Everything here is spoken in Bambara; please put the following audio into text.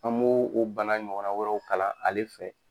An bo o bana ɲɔgɔnna wɛrɛw kalan ale fɛ.